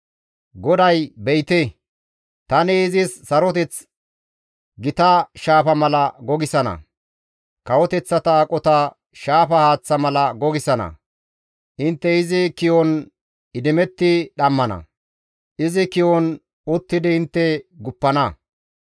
GODAY, «Be7ite, tani izis saroteth gita shaafa mala gogisana; kawoteththata aqota shaafa haaththa mala gogisana intte izi ki7on idimetti dhammana; izi ki7on uttidi intte guppana.